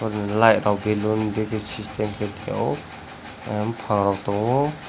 lightrok balloon dege system khe tongo buphangrok tongo.